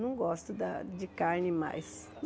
Não gosto da de carne mais.